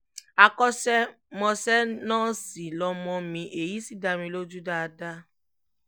àkọ́ṣe-mọṣẹ́ nọ́ọ̀sì lọmọ mi èyí sì dá mi lójú dáadáa